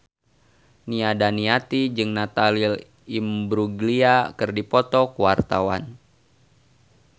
Nia Daniati jeung Natalie Imbruglia keur dipoto ku wartawan